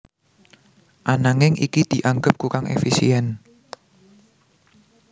Ananging iki dianggep kurang éfisién